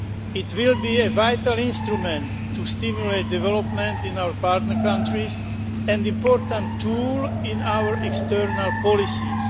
It will be a vital instrument to stimulate development in our partner countries and an important tool in our external policies.